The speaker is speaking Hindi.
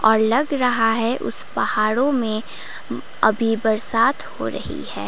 और लग रहा है उस पहाड़ों में अभी बरसात हो रही है।